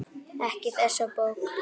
Ekki þessi bók.